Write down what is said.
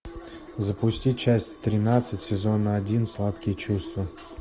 запусти часть тринадцать сезона один сладкие чувства